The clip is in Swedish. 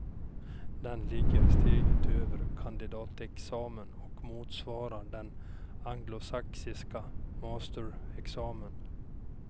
Den ligger steget över kandidatexamen och motsvarar den anglosaxiska mastersexamen.